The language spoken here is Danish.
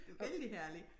Vældig herlig